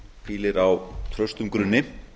hvílir á traustum grunni